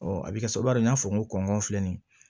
a bɛ kɛ sababu ye n y'a fɔ n ko kɔngɔ filɛ nin ye